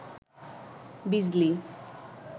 বিজলি